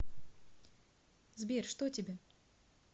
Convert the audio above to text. сбер что тебе